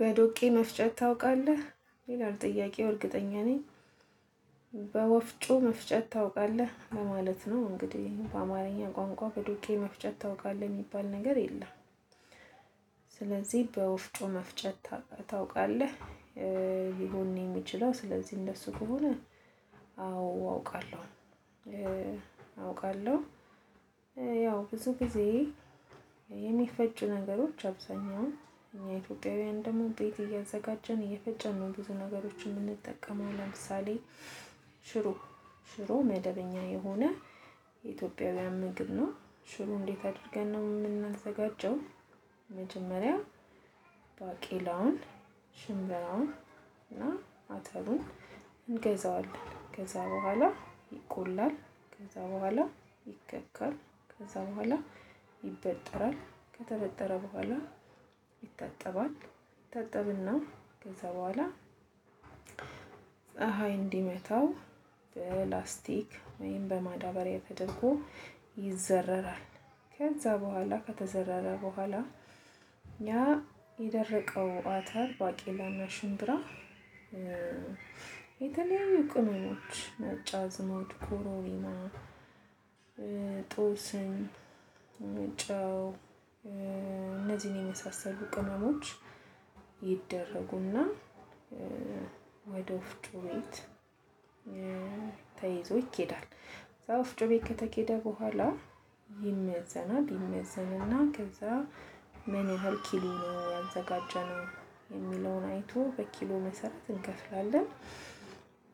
በዶቄ መፍጨት ታውቃለህ? ይላል ጥያቄው እርግጠኛ ነኝ። በወፍጮ መፍጨት ታውቃለህ ለማለት ነው። እንግዲህ በአማርኛ ቋንቋ በዶቄ መፍጨት ታውቃለህ የሚባል ነገር የለም። ስለዚህ በወፍጮ መፍጨት ታውቃለህ እ ሊሆን ነው የሚችለው። ስለዚህ እንደሱ ከሆነ። አዎ አውቃለሁ እ አውቃለሁ እ ያው ብዙ ጊዜ የሚፈጭ ነገሮች አብዛኛው እኛ ኢትዮጵያውያን ደግሞ ቤት እያዘጋጀን እየፈጨን ነው። ብዙ ነገሮችን የምንጠቀመው ለምሳሌ ሽሮ ሽሮ መደበኛ የሆነ የኢትዮጵያውያን ምግብ ነው። ሽሮ እንዴት አድርገን ነው የምናዘጋጀው? መጀመሪያ ባቄላውን ሽምብራውን እና አተሩን እንገዛዋለን ከዛ በኋላ ይቆላል። ከዛ በኋላ ይከካል። ከዛ በኋላ ይበጠራል። ከተበጠረ በኋላ ይታጠባል። ይታጠብና ከዛ በኋላ ፀሀይ እንዲመታው በላስቲክ ወይም በማዳበሪያ ተደርጎ ይዘረራል። ከዛ በኋላ ከተዘረረ በኋላ እኛ የደረቀው አተር ባቄላና ሽምብራ እ የተለያዩ ቅመሞች ነጭ አዝሙድ ከሮሪማ እ ጦስኝ እ ጨው እ እነዚህን የመሳሰሉ ቅመሞች ይደረጉና ወደ ወፍጮ ቤት እ ተይዞ ይኬዳል። ከዛ ወፍጮ ቤት ከተኬደ በኋላ ይመዘናል ይመዘንና ከዛ ምን ያህል ኪሎ ነው ያዘጋጀነው የሚለውን አይቶ በኪሎ መሰረት እንከፍላለን።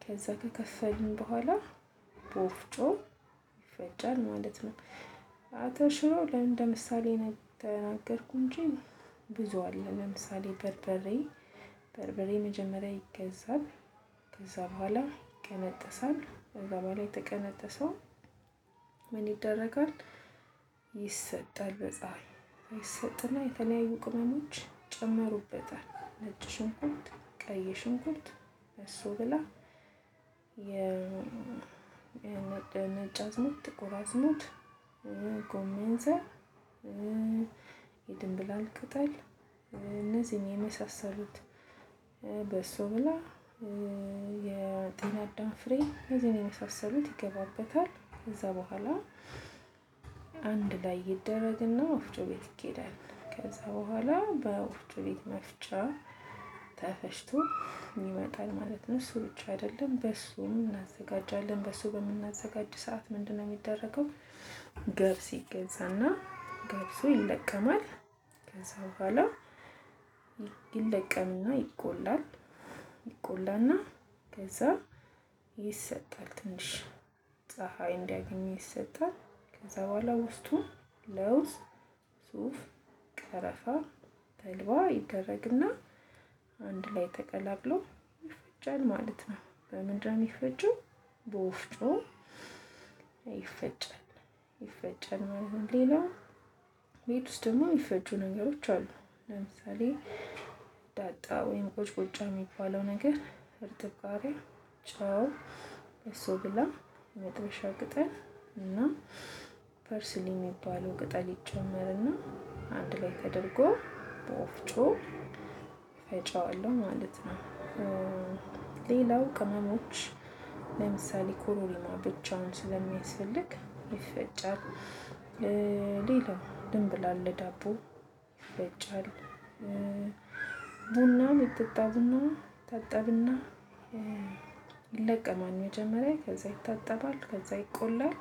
ከዛ ከከፈልን በኋላ በወፍጮ ይፈጫል ማለት ነው። አቶ ሽሮ ለምን እንደ ምሳሌ ነው የ ተናገርኩኝ እንጂ ብዙ አለ። ለምሳሌ በርበሬ በርበሬ መጀመሪያ ይገዛል ከዛ በኋላ ይቀነጠሳል። ከዛ በላይ የተቀነጠሰው ምን ይደረጋል? ይሰጣል በፀሀይ ይሰጥና የተለያዩ ቅመሞች ይጨመሩበታል። ነጭ ሽንኩርት ቀይ ሽንኩት በሶ ብላ የ የነጭ ነጭ አዝሙድ ጥቁር አዝሙድ እ ጎመን ዘር እ የድንብላል ቅጠል እነዚህን የመሳሰሉት እ በሶ ብላ እ የጤና አዳም ፍሬ እነዚህን የመሳሰሉት ይገባበታል። ከዛ በኋላ አንድ ላይ ይደረግና ወፍጮ ቤት ይኬዳል ከዛ በኋላ በወፍጮ ቤት መፍጫ ተፈጭቶ ይመጣል ማለት ነው። እሱ ብቻ አይደለም በሶ እናዘጋጃለን በሶ በምናዘጋጅ ሰዓት ምንድነው የሚደረገው? ገብስ ይ ይገዛና ገብሱ ይለቀማል። ከዛ በኋላ ይለቀምና ይቆላል። ይቆላና ከዛ ይሰጣል ትንሽ ፀሀይ እንዲያገኝ ይሰጣል። ከዛ በኋላ ውስጡ ለውዝ ሱፍ ቀረፋ ተልባ ይደረግና አንድ ላይ ተቀላቅሎ ይፈጫል። ማለት ነው። በምንድነው የሚፈጨው? በወፍጮ ይፈጫል። ይፈጫል ነው። ሌላው ቤት ውስጥ ደግሞ የሚፈጩ ነገሮች አሉ። ለምሳሌ ዳጣ ወይም ቁጭ ቁጫ የሚባለው ነገር እርጥብ ቃርያ ጨው በሶ ብላ መጥበሻ ቅጠል እና ፐርስኒ የሚባለው ቅጠል ይጨመርና አንድ ላይ ተደርጎ በወፍጮ ፈጨዋለሁ ማለት ነው። እ ሌላው ቅመሞች ለምሳሌ ኮሮሪማ ብቻውን ስለሚያስፈልግ ይፈጫል። እ ሌላው ድንብላል ለዳቦ ይፈጫል። እ ቡና የሚጠጣ ቡና ይታጠብና እ ይለቀማል መጀመሪያ ከዛ ይታጠባል ከዛ ይቆላል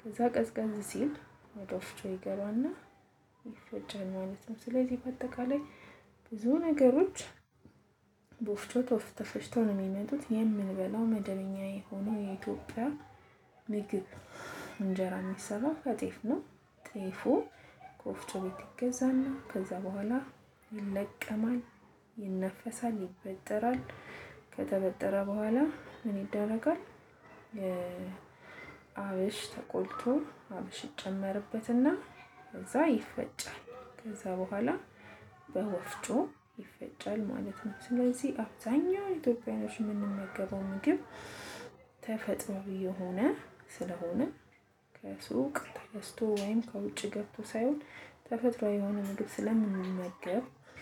ከዛ ቀዝቀዝ ሲል ወደ ወፍጮ ይገባና ይፈጫል ማለት ነው። ስለዚህ በአጠቃላይ ብዙ ነገሮች በወፍጮ ተፈጭተው ነው የሚመጡት። የምንበላው መደበኛ የሆነው የኢትዮጵያ ምግብ እንጀራ የሚሰራው ከጤፍ ነው። ጤፉ ከወፍጮ ቤት ይገዛና ከዛ በኋላ ይለቀማል ይነፈሳል ይበጠራል ከተበጠረ በኋላ ምን ይደረጋል? እ አብሽ ተቆልቶ አብሽ ይጨመርበትና ከዛ ይፈጫል ከዛ በኋላ በወፍጮ ይፈጫል ማለት ነው። ስለዚህ አብዛኛው ኢትዮጵያውያኖች የምንመገበው ምግብ ተፈጥሮአዊ የሆነ ስለሆነ ከሱቅ ተገዝቶ ወይም ከውጭ ግብቶ ሳይሆን ተፈጥሮአዊ የሆነ ምግብ ስለምንመገብ።